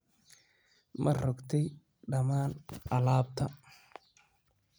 Ma rogtey dhammaan alaabta?